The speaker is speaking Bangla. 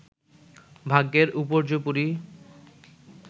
ভাগ্যের উপর্যুপরি